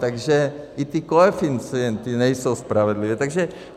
Takže i ty koeficienty nejsou spravedlivé.